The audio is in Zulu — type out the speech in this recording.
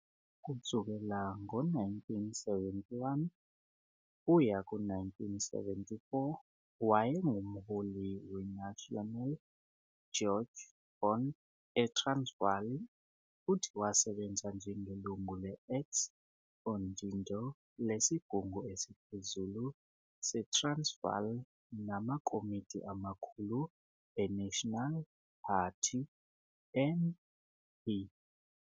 Kusukela ngo-1971 kuya ku-1974 wayengumholi weNasionale Juegbond eTransvaal futhi wasebenza njengelungu le-ex-udindoo lesigungu esiphezulu seTransvaal namakomidi amakhulu eNational Party, NP,